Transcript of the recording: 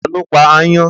Ta ló pa aáyán?